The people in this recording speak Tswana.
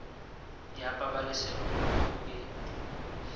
ya pabalesego loago e e